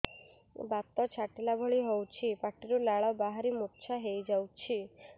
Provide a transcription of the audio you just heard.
ବାତ ଛାଟିଲା ଭଳି ହଉଚି ପାଟିରୁ ଲାଳ ବାହାରି ମୁର୍ଚ୍ଛା ହେଇଯାଉଛି